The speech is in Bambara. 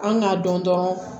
An ŋ'a dɔn dɔrɔn